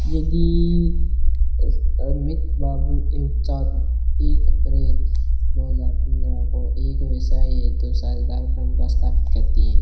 यदि अमित बाबू एक अप्रैल दो हजार पंद्रह को एक व्यवसाय है तो साझेदार स्थापित करते है।